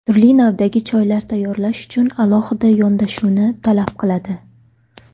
Turli navdagi choylar tayyorlash uchun alohida yondashuvni talab qiladi.